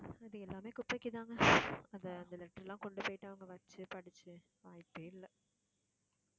இது எல்லாமே குப்பைக்கு தாங்க. அந்த அந்த letter எல்லாம் கொண்டு போயிட்டு அவங்க வச்சு படிச்சு வாய்ப்பேயில்ல